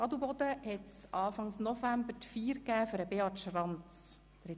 Dort fand Anfang November eine Feier für Beat Schranz statt.